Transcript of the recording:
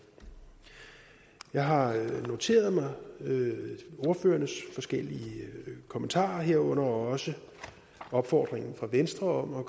jeg har noteret mig ordførernes forskellige kommentarer herunder også opfordringen fra venstre om at